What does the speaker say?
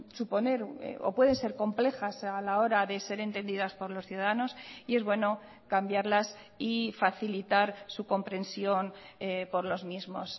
suponer o pueden ser complejas a la hora de ser entendidas por los ciudadanos y es bueno cambiarlas y facilitar su comprensión por los mismos